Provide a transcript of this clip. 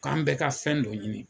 K'an bɛɛ ka fɛn dɔ ɲini